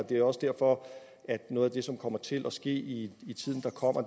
det er også derfor at noget af det som kommer til at ske i tiden der kommer